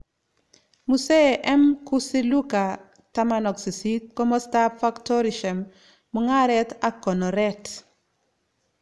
Mosee M. Kusiluka 18. Komostapp Factorishem, Mungareet ak konoreet